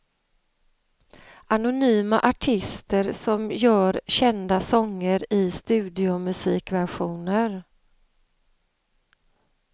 Anonyma artister som gör kända sånger i studiomusikversioner.